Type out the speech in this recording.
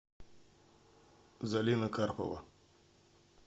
залина карпова